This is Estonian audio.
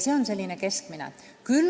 See on keskmine.